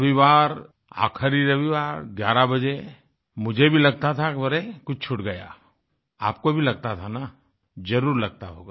रविवार आख़िरी रविवार 11 बजे मुझे भी लगता था कि अरे कुछ छूट गया आपको भी लगता था ना जरुर लगता होगा